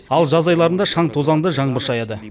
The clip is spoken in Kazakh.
ал жаз айларында шаң тозаңды жаңбыр шаяды